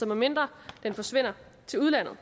medmindre den forsvinder til udlandet